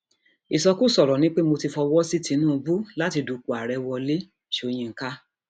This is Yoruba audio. ìsọkúsọ ọrọ ni pé mo ti fọwọ sí tìǹbù láti dúpọ ààrẹ wọlé sọyìnkà